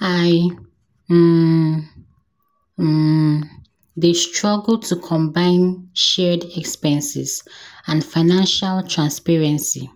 I um um dey struggle to combine shared expenses and financial transparency.